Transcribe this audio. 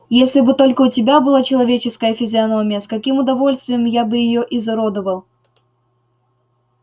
если бы только у тебя была человеческая физиономия с каким удовольствием я бы её изуродовал